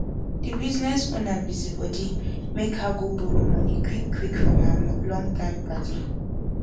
de bisiness owner busi body make her go borrow moni quick quick from her long time padi